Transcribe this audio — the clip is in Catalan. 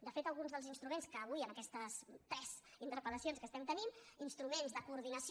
de fet alguns dels instruments que avui en aquestes tres interpel·lacions que estem tenint instruments de coordinació